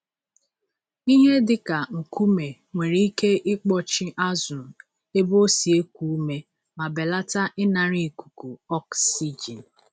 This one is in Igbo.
Ihe dịka nkume nwere ike ịkpọchi azụ ebe o si eku ume ma belata ịnara ikuku ọksijin.